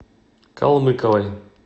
колмыковой